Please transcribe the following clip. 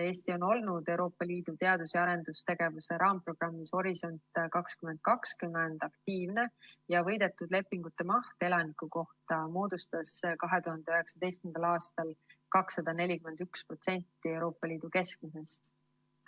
Eesti on olnud Euroopa Liidu teadus‑ ja arendustegevuse raamprogrammis "Horisont 2020" aktiivne ja võidetud lepingute maht elaniku kohta moodustas 2019. aastal 241% Euroopa Liidu keskmisest.